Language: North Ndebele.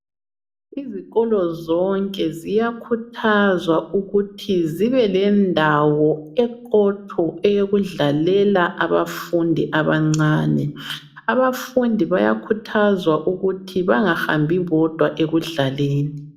Izikolo zonke ziyakhuthazwa ukuthi zibelendawo eqotho yokudlalela abafundi, abancane. Abafundi bayakhuthazwa ukuthi bangahambi bodwa ekudlaleni.